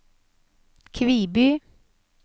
Kviby